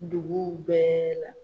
Duguw bɛɛ la.